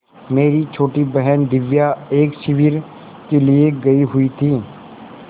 मेरी छोटी बहन दिव्या एक शिविर के लिए गयी हुई थी